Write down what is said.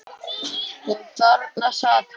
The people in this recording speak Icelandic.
Og þarna sat hann.